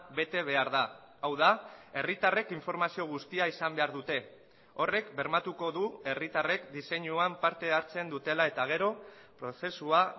bete behar da hau da herritarrek informazio guztia izan behar dute horrek bermatuko du herritarrek diseinuan parte hartzen dutela eta gero prozesua